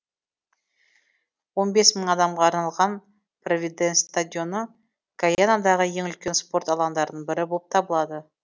он бес мың адамға арналған провиденс стадионы гайанадағы ең үлкен спорт алаңдарының бірі болып табылады